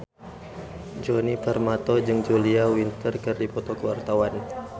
Djoni Permato jeung Julia Winter keur dipoto ku wartawan